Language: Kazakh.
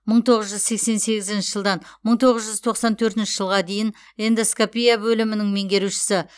мың тоғыз жүз сексен сегізінші жылдан мың тоғыз жүз тоқсан төртінші жылға дейін эндоскопия бөлімінің меңгерушісі